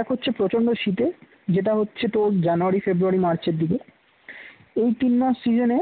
এক হচ্ছে প্রচণ্ড শীতে যেটা হচ্ছে তোর জানুয়ারি, ফেবরুয়ারি, মার্চের দিকে এই তিনমাস season